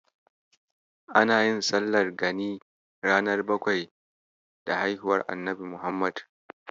Ana yin sallar gani ranar bakwai da haihuwar Annabi Muhammad.